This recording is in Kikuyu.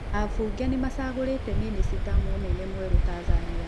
Aabunge nĩmacagũrĩte mĩnĩcita mũnene mwerũTanzania.